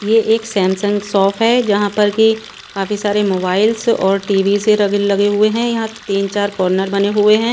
ये एक Samsung shop है जहां पर कि काफी सारे मोबाइल्स और टी_वी से र लगे हुए हैं यहां तीन चार कॉर्नर बने हुए हैं।